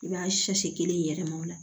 I b'a kelen yɛlɛm'o la